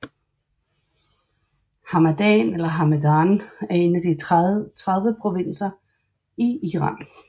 Hamadan eller Hamedan er en af de 30 provinser i Iran